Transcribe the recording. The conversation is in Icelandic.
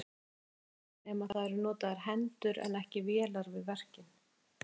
Kristján Már: Nema það eru notaðar hendur en ekki vélar við verkin?